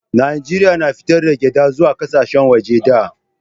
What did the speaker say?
najeriya na fitar da gyada zuwa ƙasashen waje da